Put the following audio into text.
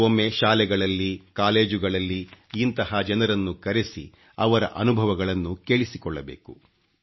ಕೆಲವೊಮ್ಮೆ ಶಾಲೆಗಳಲ್ಲಿ ಕಾಲೇಜುಗಳಲ್ಲಿ ಇಂತಹ ಜನರನ್ನು ಕರೆಸಿ ಅವರ ಅನುಭವಗಳನ್ನು ಕೇಳಿಸಿಕೊಳ್ಳಬೇಕು